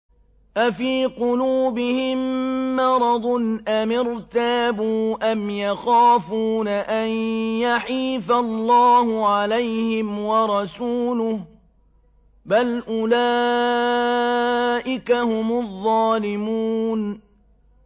أَفِي قُلُوبِهِم مَّرَضٌ أَمِ ارْتَابُوا أَمْ يَخَافُونَ أَن يَحِيفَ اللَّهُ عَلَيْهِمْ وَرَسُولُهُ ۚ بَلْ أُولَٰئِكَ هُمُ الظَّالِمُونَ